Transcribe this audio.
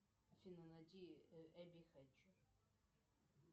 афина найди эбби хэтчер